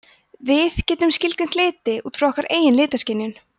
við getum skilgreint liti út frá okkar eigin litaskynjun